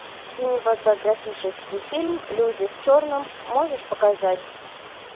кинематографический фильм люди в черном можешь показать